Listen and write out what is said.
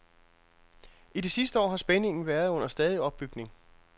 I det sidste år har spændingen været under stadig opbygning.